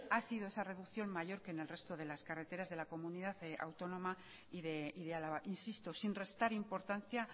ha sido esa reducción mayor que en el resto de las carreteras de la comunidad autónoma y de álava insisto sin restar importancia